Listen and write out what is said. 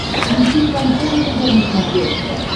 включи шансон тв на смотрешке